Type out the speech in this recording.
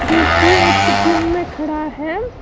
जो की एक जिम में खड़ा है।